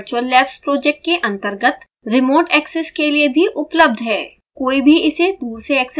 यह setup virtual labs project के अंतर्गत रिमोट एक्सेस के लिए भी उपलब्ध है